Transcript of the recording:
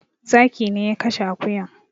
Zaki ne ya kashe akuyan